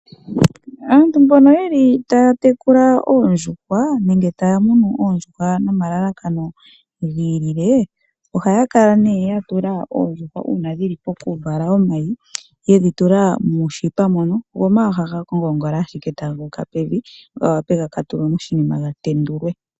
Aantu mbono taya tekula oondjushwa nenge taya munu oondjushwa nomalalakano giilile, ohaya kala ya tula oondjushwa moonete uuna dhi li pokuvala omayi, go omayi taga ngongola ashike guuka pevi go ga ka tulwe moshinima ga tendulwe.